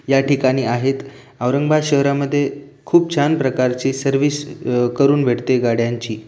या ठिकाणी आहेत औरंगाबाद शहरामध्ये खूप छान प्रकारची सर्विस अ करून भेटते गाड्यांची.